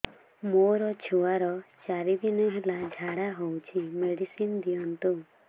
ମୋର ଛୁଆର ଚାରି ଦିନ ହେଲା ଝାଡା ହଉଚି ମେଡିସିନ ଦିଅନ୍ତୁ